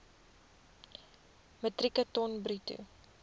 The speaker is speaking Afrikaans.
metrieke ton bruto